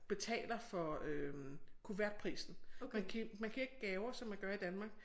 Betaler for øh kuvertprisen man man giver ikke gaver som man gør i Danmark